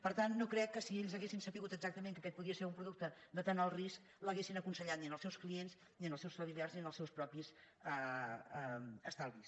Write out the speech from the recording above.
per tant no crec que si ells haguessin sabut exactament que aquest podia ser un producte de tant alt risc l’haguessin aconsellat ni als seus clients ni als seus familiars ni als seus propis estalvis